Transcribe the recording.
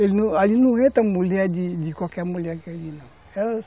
Ali não entra mulher de qualquer mulher que ali não.